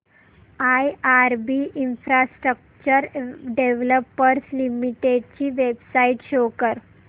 IRB infrastructure developers limited ची website show करा